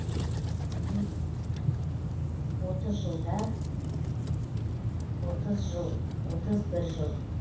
и отыз жылда отыз жыл отыз бір жыл